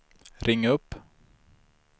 ring upp